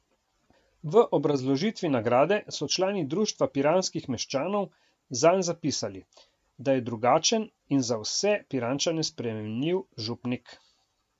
V obrazložitvi nagrade so člani društva piranskih meščanov zanj zapisali, da je drugačen in za vse Pirančane sprejemljiv župnik.